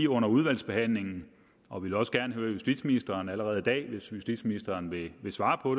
under udvalgsbehandlingen og vi vil også gerne høre justitsministerens svar allerede i dag hvis justitsministeren vil svare på